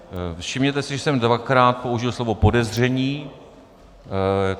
Všimněte si, že jsem dvakrát použil slovo podezření.